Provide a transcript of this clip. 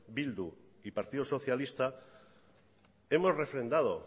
bildu y partido socialista hemos refrendado